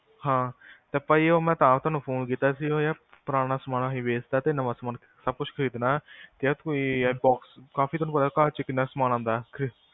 ਹਾਂ, ਉਹ ਭਾਜੀ ਮੈਂ ਤੁਹਾਨੂੰ ਤਾਂ phone ਕੀਤਾ ਸੀ, ਉਹ ਪੁਰਾਣਾ ਸਾਮਾਨ ਅਸੀਂ ਵੇਚਤਾ ਤੇ ਨਵਾਂ ਸਾਮਾਨ ਸਬ ਕੁੱਝ ਖ਼ਰੀਦਣਾ ਯਾਰ ਕੋਈ box bed ਕਾਫੀ ਤੁਹਾਨੂੰ ਪਤਾ ਘਰ ਚ ਕਿਹਨਾਂ ਸਾਮਾਨ ਆਂਦਾ